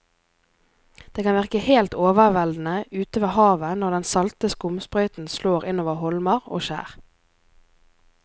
Det kan virke helt overveldende ute ved havet når den salte skumsprøyten slår innover holmer og skjær.